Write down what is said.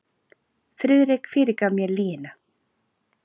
Friðrik fyrirgaf mér lygina.